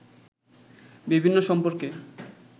বিভিন্ন সম্পর্কে